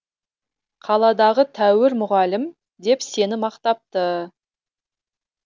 қаладағы тәуір мұғалім деп сені мақтапты